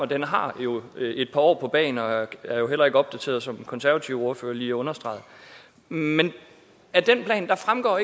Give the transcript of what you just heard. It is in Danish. den har jo et par år på bagen og er heller ikke opdateret som den konservative ordfører lige understregede og af den plan fremgår